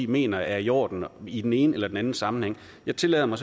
mener er i orden i den ene eller anden sammenhæng jeg tillader mig